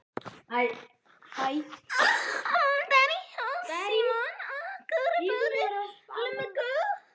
Ef mamma sló mig sló ég bara á móti.